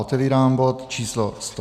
Otevírám bod číslo